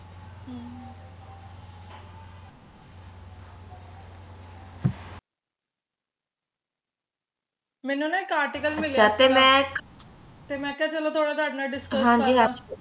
ਮੈਨੂੰ ਨਾ ਇਕ article ਮਿਲਿਆ ਸੀ ਗਾ ਤੇ ਮੈਂ ਕਿਹਾ ਚਲੋ ਥੋੜਾ ਤੁਹਾਡੇ ਨਾਲ discuss ਕਰ ਲਾ